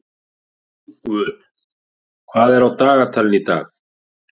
Rongvuð, hvað er á dagatalinu í dag?